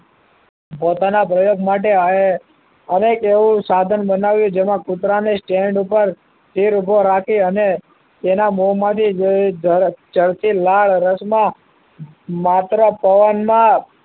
પોતાના પ્રયોગ માટે અહીં અનેક સાધન બનાવ્યું જેમાં કૂતરાને સ્ટેન્ડ ઉપર સ્થિર ઊભો રાખી અને તેના મોંમાંથી જડતી ચડતી લાળ રસ માં માત્ર પવન માં